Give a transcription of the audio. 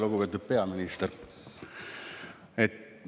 Lugupeetud peaminister!